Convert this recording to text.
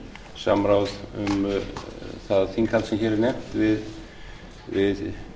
samráð um það þinghald sem hér er nefnt við